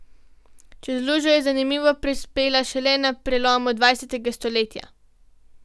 Čez lužo je zanimivo prispela šele na prelomu dvajsetega stoletja.